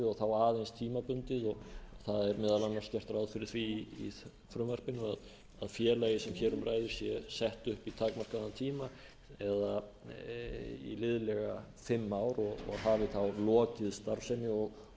og þá aðeins tímabundið og það er meðal annars gert ráð fyrir því í frumvarpinu að félagið sem hér um ræðir sé sett upp í takmarkaðan tíma eða í liðlega fimm ár og hafi þá lokið starfsemi